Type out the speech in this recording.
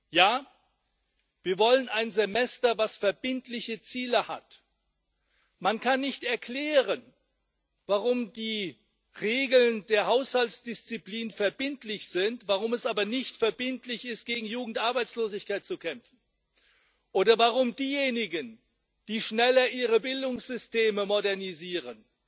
Ja, wir wollen ein Semester, das verbindliche Ziele hat. Man kann nicht erklären, warum die Regeln der Haushaltsdisziplin verbindlich sind, warum es aber nicht verbindlich ist, gegen Jugendarbeitslosigkeit zu kämpfen, oder warum diejenigen, die schneller ihre Bildungssysteme modernisieren,